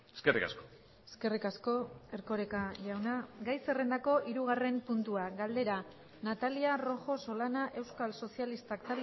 eskerrik asko eskerrik asko erkoreka jauna gai zerrendako hirugarren puntua galdera natalia rojo solana euskal sozialistak